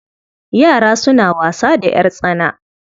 Yara suna wasa da ƴartsana.